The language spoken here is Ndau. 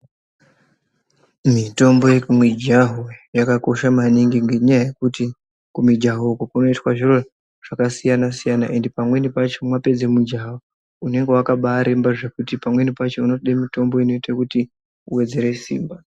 Mitombo yekumijaho yakakosha maningi ngenyaya yekuti kumijaho uku kunoitwe zviro zvakasiyana siyana ende pamweni pacho mapedze mijaho unenge wakabaremba zvekuti pamweni pacho unode mitombo inoite kuti uwedzere simba.